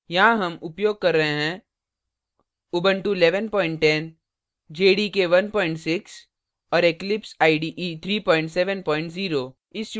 यहाँ हम उपयोग कर रहे हैं